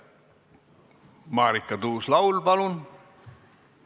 Marika Tuus-Laul, palun!